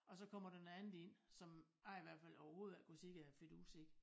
Og så kommer der noget andet ind som jeg i hvert fald overhovedet ikke kunne se æ fidus i